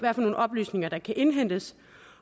oplysninger der kan indhentes